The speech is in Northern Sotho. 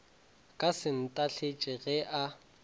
ka se ntahletše ge a